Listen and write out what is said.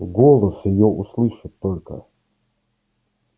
голос её усллышать только